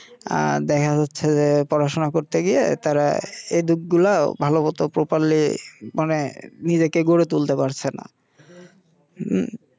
আ দেখা যাচ্ছে পড়াশোনা করতে গিয়ে তারা এইদিকগুলা ভালমত মানে নিজেকে গড়ে তুলতে পারছেনা হুম